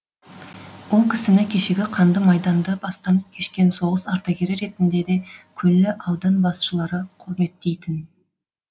ол кісіні кешегі қанды майданды бастан кешкен соғыс ардагері ретінде де күллі аудан басшылары құрметтейтін